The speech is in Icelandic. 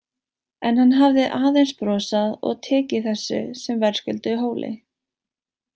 En hann hafði aðeins brosað og tekið þessu sem verðskulduðu hóli.